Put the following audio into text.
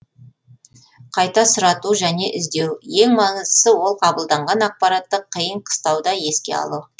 қайта сұрату және іздеу ең маңыздысы ол қабылданған ақпаратты қиын қыстауда еске алу